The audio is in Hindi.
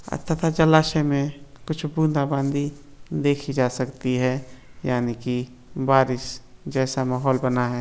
तथा जलाशय में कुछ बूंदा-बांदी देखी जा सकती है यानी की बारिश जैसा माहौल बना है।